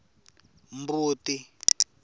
mbuti